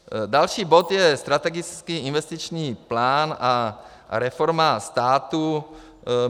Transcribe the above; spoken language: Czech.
Další bod je strategický investiční plán a reforma státu.